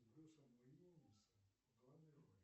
с брюсом уиллисом в главной роли